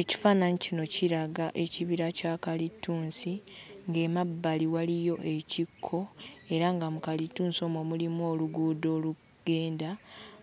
Ekifaananyi kino kiraga ekibira kya kalitunsi, ng'emabbali waliyo ekikko, era nga mu kalitunsi omwo mulimu oluguudo olugenda,